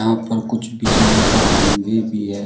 यहां पर कुछ बिजली के खंभे भी है।